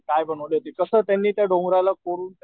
काय बनवले होते कस त्यांनी त्या डोंगराला कोरून